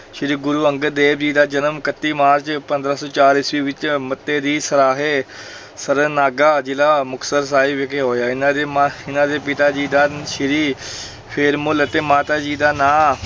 ਸ੍ਰੀ ਗੁਰੂ ਅੰਗਦ ਦੇਵ ਜੀ ਦਾ ਜਨਮ ਇਕੱਤੀ ਮਾਰਚ ਪੰਦਰਾਂ ਸੌ ਚਾਰ ਈਸਵੀ ਵਿੱਚ ਮੱਤੇ ਦੀ ਸਰਾਂਹੇ ਸਰਨਾਗਾ, ਜ਼ਿਲ੍ਹਾ ਮੁਕਤਸਰ ਸਾਹਿਬ ਵਿਖੇ ਹੋਇਆ, ਇਹਨਾਂ ਦੇ ਮਾ ਇਹਨਾਂ ਦੇ ਪਿਤਾ ਜੀ ਦਾ ਸ੍ਰੀ ਫੇਰੂਮੱਲ ਅਤੇ ਮਾਤਾ ਜੀ ਦਾ ਨਾਂ